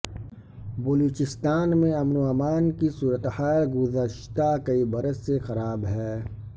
بلوچستان میں امن و امان کی صورتحال گذشتہ کئی برس سے خراب ہے